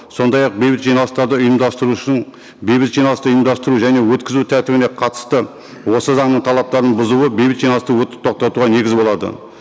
сондай ақ бейбіт жиналыстарды ұйымдастырушының бейбіт жиналысты ұйымдастыру және өткізу тәртібіне қатысты осы заңның талаптарын бұзуы бейбіт жиналысты тоқтатуға негіз болады